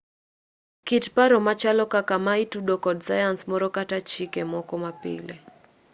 kit paro machalo kaka ma itudo kod sayans moro kata chike moko mapile